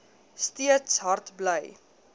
steeds hard bly